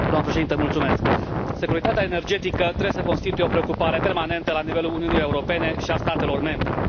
Doamnă Președinte, securitatea energetică trebuie să constituie o preocupare permanentă la nivelul Uniunii Europene și a statelor membre.